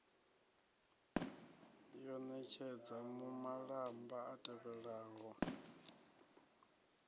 wo ṋetshedza malamba a tevhelaho